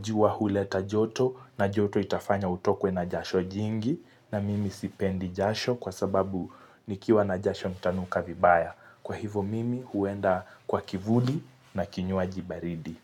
jua huleta joto na joto itafanya utokwe na jasho jingi na mimi sipendi jasho kwa sababu nikiwa na jasho nitanuka vibaya. Kwa hivo mimi huenda kwa kivuli na kinywaji baridi.